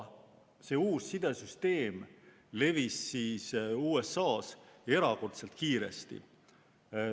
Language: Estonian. See uus sidesüsteem levis USA-s erakordselt kiiresti.